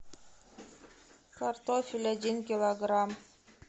картофель один килограмм